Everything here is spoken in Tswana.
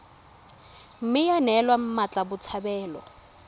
mme ya neelwa mmatla botshabelo